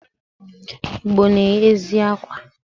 Igbo na-eyi ezigbo akwa.